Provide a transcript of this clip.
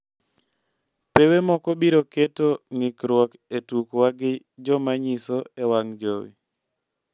pewe moko biro keto ngikruok e tukwa gi jomanyiso e wang jowi